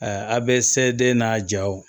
a bɛ se den n'a jaw